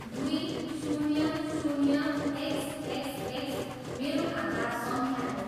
दुई, शून्य, शून्य, एक्स, एक्स, एक्स मेरो खाता सङ्ख्या हो।